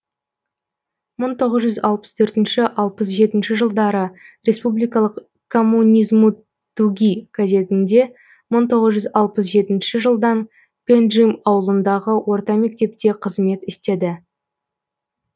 мың тоғыз жүз алпыс төртінші алпыс жетінші жылдары республикалық коммунизмтуги газетінде мың тоғыз жүз алпыс жетінші жылдан пенджим ауылындағы орта мектепте қызмет істеді